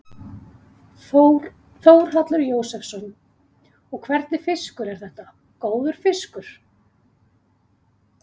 Þórhallur Jósefsson: Og hvernig fiskur er þetta, góður fiskur?